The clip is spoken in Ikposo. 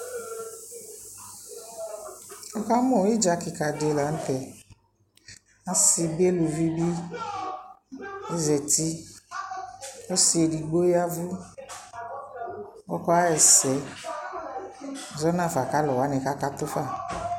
Nuka mʋ ɩdza kɩka dɩ la n'tɛ Asɩ bɩ , eluvi b azati Ɔsɩ edigbo yavʋ, ɔkaɣ'ɛsɛ zɔnafa k'alʋwanɩ kakatʋ fa